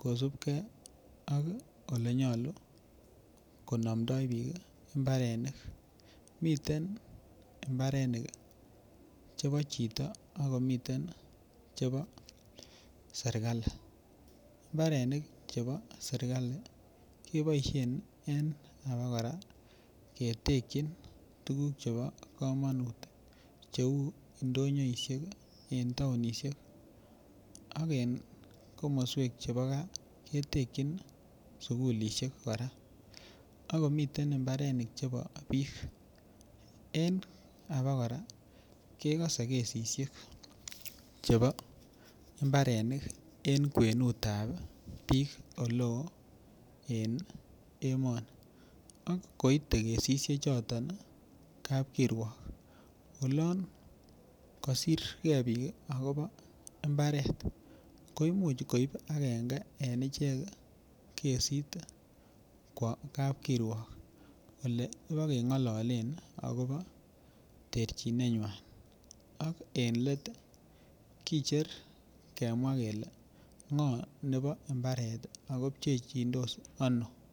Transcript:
kosupkei ak olenyolu konamdoigei piik imbarenik miten imbarenik chepo chito akomiten chepo [csserikali imbarenik chepo serikali kepoishen en ketekchin koraa tuguk chepo komanut ketekchin tugun cheu ndonyoishek eng' taunisiek ak en komoswek chepo kaa ketekchin sugulishek akomiten imbarenik chepo piik en ako koraa kekase kesishek chepo imbarenik en kwenu ab piik oloo en emoni ak koite kesishek chotok kapkirwok olon kasirgei piik akobo imbaret koimuch koip agenge en ichek kesit kap kirwok ole pa keng'ololen akopo terchine nywan ak eng' let kicher kemwa kele ng'o nepo imbaret akopchechindos ano.